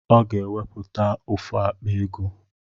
Ọ ga-enwepụta ofu akpa ego